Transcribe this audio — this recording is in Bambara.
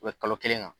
U bɛ kalo kelen kan